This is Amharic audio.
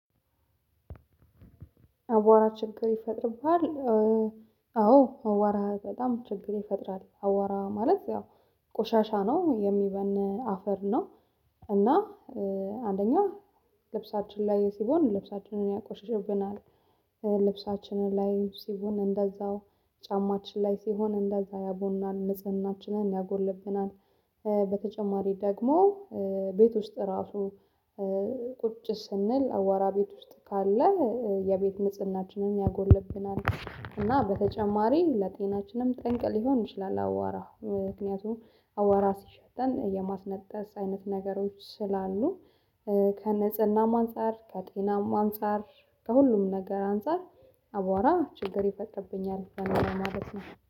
አቧራ ችግር ይፈጥርብሃል? አዎ አቧራ በጣም ችግር ይፈጥራል። አቧራ ማለት ያው ቆሻሻ ነው የሚበን አፈር ነው። እና አንደኛ ልብሳችን ላይ ሲሆን ልብሳችንን ያቆሽሽብናል። ልብሳችንን ላይ ሲሆን እንደዛው ጫማችን ላይ ሲሆን እንደዛ ያቦናል ንጽህናችንን ያጎልብናል። በተጨማሪ ደግሞ ቤት ውስጥ እራሱ ቁጭ ስንል አቧራ ቤት ውስጥ ካለ የቤት ንጽህናችንን ያጎልብናል። እና በተጨማሪ ለጤናችንም ጠንቅ ሊሆን ይችላል አቧራ። ምክንያቱም አቧራ ሲሸተን የማስነጠስ አይነት ነገሮች ስላሉ ከንጽህናም አንፃር ከጤናም አንፃር ከሁሉም ነገር አንፃር አቧራ ችግር ይፈጥርብኛል በኔ ላይ ማለት ነው።